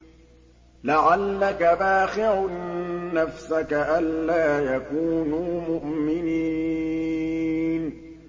لَعَلَّكَ بَاخِعٌ نَّفْسَكَ أَلَّا يَكُونُوا مُؤْمِنِينَ